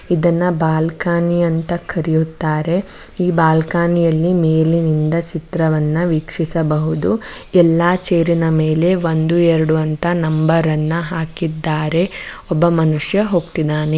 ಇದನ್ನ ಬಾಲ್ಕನಿ ಅಂತ ಕರೆಯುತ್ತಾರೆ ಈ ಬಾಲ್ಕನಿಯಲ್ಲಿ ಮೇಲಿನಿಂದ ಚಿತ್ರವನ್ನು ವೀಕ್ಷಿಸಬಹುದು ಎಲ್ಲಾ ಚೇರಿನ ಮೇಲೆ ಒಂದು ಎರಡು ಅಂತ ನಂಬರನ್ನು ಹಾಕಿದ್ದಾರೆ ಒಬ್ಬ ಮನುಷ್ಯ ಹೋಗ್ತಿದ್ದಾನೆ --